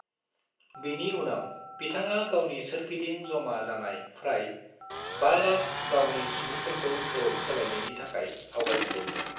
बिनि उनाव बिथाङा गावनि सोरगिदिं जमा जानाय फ्राय 500,000 गावनि सुंग्राफोरखौ धोरोम सोलायनायनि थाखाय आवगयहोदों मोन।